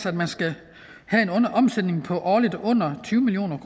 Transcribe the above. at man skal have en årlig omsætning på under tyve million